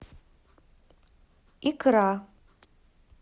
икра